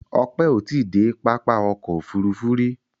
Ope o ti de papá ọ̀kọ̀ ofúrúfú ri